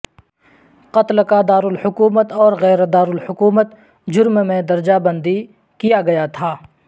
قتل کا دارالحکومت اور غیر دارالحکومت جرم میں درجہ بندی کیا گیا تھا